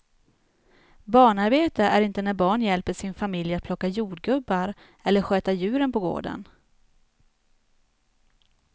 Barnarbete är inte när barn hjälper sin familj att plocka jordgubbar eller sköta djuren på gården.